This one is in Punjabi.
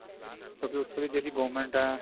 ਕਿਉਂਕਿ ਉੱਥੋਂ ਦੀ ਜਿਹੜੀ government ਹੈ